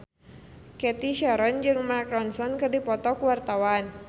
Cathy Sharon jeung Mark Ronson keur dipoto ku wartawan